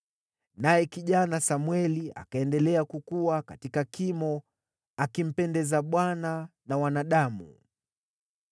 Naye kijana Samweli akaendelea kukua katika kimo, akimpendeza Bwana na wanadamu.